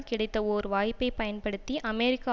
கிடைத்த ஓர் வாய்ப்பை பயன்படுத்தி அமெரிக்க